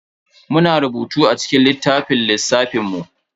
Muna rubutu a cikin littafin lissafin mu.